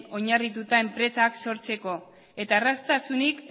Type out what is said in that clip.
oinarrituta enpresak sortzeko eta erraztasunik